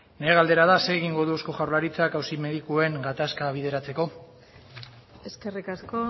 nere galdera da zer egingo du eusko jaurlaritzak auzi medikuen gatazka bideratzeko eskerrik asko